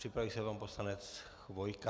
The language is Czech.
Připraví se pan poslanec Chvojka.